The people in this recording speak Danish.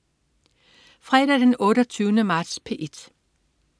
Fredag den 28. marts - P1: